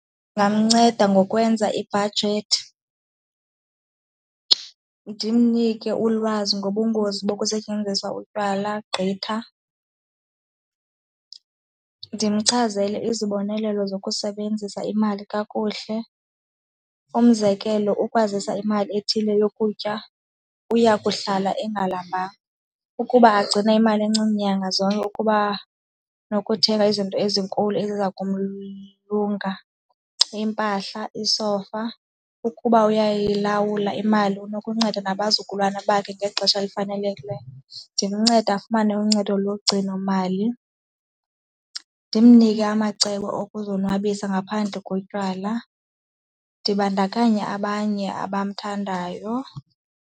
Ndingamnceda ngokwenza ibhajethi, ndimnike ulwazi ngobungozi bokusetyenziswa utywala gqitha, ndimchazele izibonelelo zokusebenzisa imali kakuhle. Umzekelo, ukwazisa imali ethile yokutya uya kuhlala engalambanga, ukuba agcine imali encinci nyanga zonke ukuba nokuthenga izinto ezinkulu eziza lunga, iimpahla, iisofa. Ukuba uyilawula imali unokunceda nabazukulwana bakhe ngexesha elifanelekileyo. Ndimncede afumane uncedo logcinomali, ndimnike amacebo okuzonwabisa ngaphandle kotywala, ndibandakanya abanye abamthandayo.